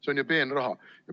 See on ju peenraha!